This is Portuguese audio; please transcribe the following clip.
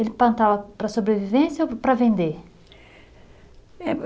Ele plantava para sobrevivência ou para vender? Eh